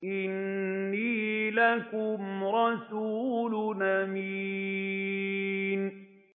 إِنِّي لَكُمْ رَسُولٌ أَمِينٌ